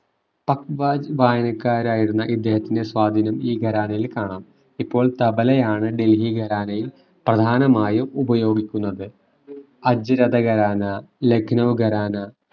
വായനക്കാരായിരുന്ന ഇദ്ദേഹത്തിന്റെ സ്വാധീനം ഈ ഖരാനയിൽ കാണാം. ഇപ്പൊൾ തബലയാണ് ഡൽഹി ഖരാനയിൽ പ്രധാനമായും ഉപയോഗിക്കുന്നത് അജ്‌രദ ഖരാന ലഖ്‌നൗ ഖരാന